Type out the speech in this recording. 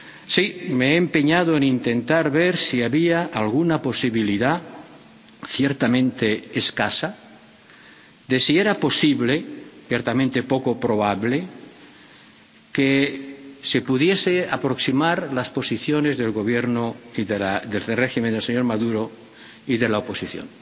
Sí, me he empeñado en intentar ver si había alguna posibilidad, ciertamente escasa, de si era posible, ciertamente poco probable, que se pudiesen aproximar las posiciones del Gobierno, del régimen del señor Maduro y de la oposición.